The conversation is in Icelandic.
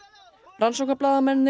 rannsóknarblaðamennirnir